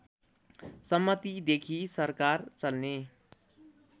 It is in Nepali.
सम्मतिदेखि सरकार चल्ने